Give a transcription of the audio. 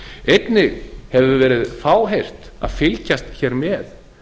einnig hefur verið fáheyrt að fylgjast með